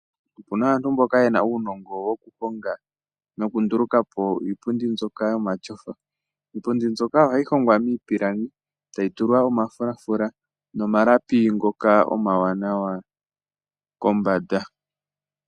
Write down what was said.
Opuna aantu mboka yena uunongo wokuhonga nokunduluka po iipundi mbyoka yomatyofa. Iipundi mbyoka ohayi hongwa miipilangi etayi tulwa omafulafula nomalapi ngoka omawanawa kombanda.